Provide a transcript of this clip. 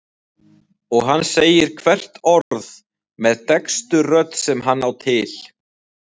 Og hann segir hvert orð með dekkstu rödd sem hann á til.